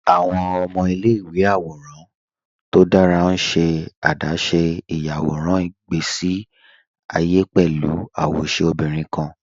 Awọn ọmọ ilẹ̀-ìwé àwòràn tó dára n ṣe adáṣé iyàwọ̀ràn ìgbèsí àyé pẹ̀lú awóṣẹ obìnrin kan